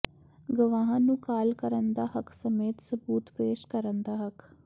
ਗਵਾਹਾਂ ਨੂੰ ਕਾਲ ਕਰਨ ਦਾ ਹੱਕ ਸਮੇਤ ਸਬੂਤ ਪੇਸ਼ ਕਰਨ ਦਾ ਹੱਕ